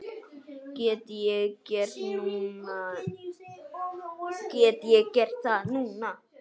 Get ég gert það núna?